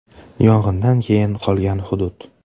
Yong‘indan keyin qolgan hudud.